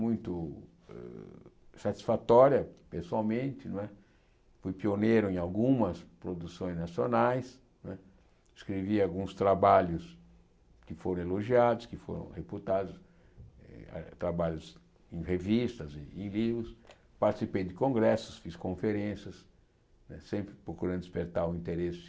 muito satisfatória pessoalmente, não é fui pioneiro em algumas produções nacionais não é, escrevi alguns trabalhos que foram elogiados, que foram reputados, eh trabalhos em revistas, em livros, participei de congressos, fiz conferências né, sempre procurando despertar o interesse